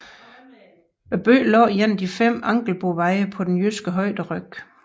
Byen lå en af de fem Angelboveje på den jyske højderyg